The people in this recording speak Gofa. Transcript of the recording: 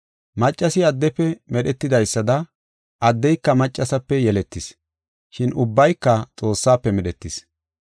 Maccasi addefe medhetidaysada addeyka maccasape yeletis. Shin ubbayka Xoossafe medhetis.